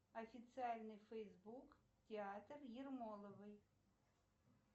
официальный фейсбук театр ермоловой